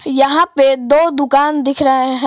यहां पे दो दुकान दिख रहे हैं।